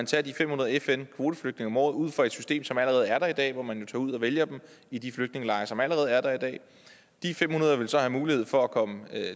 tage de fem hundrede fn kvoteflygtninge om året ud fra et system som allerede er der i dag hvor man jo tager ud og vælger dem i de flygtningelejre som allerede er der i dag de fem hundrede ville så have mulighed for at komme